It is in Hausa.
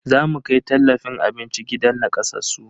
Zamu kai tallafin abinci gidan nakasassu.